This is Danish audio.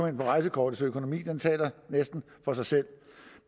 ind på rejsekortets økonomi den taler næsten for sig selv